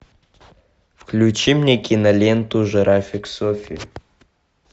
включи мне киноленту жирафик софи